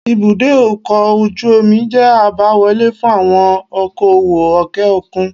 Ibùdó ọkọ̀ ojú omi jẹ́ àbáwọlé fún àwọn okoòwò òkè òkun